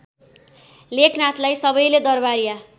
लेखनाथलाई सबैले दरबारिया